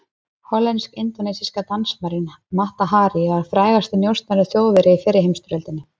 Hollensk-indónesíska dansmærin Mata Hari var frægasti njósnari Þjóðverja í fyrri heimsstyrjöld.